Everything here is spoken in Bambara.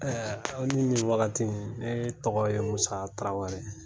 Ɛɛ aw ni nin wagati in. Ne tɔgɔ ye Musa Tarawere .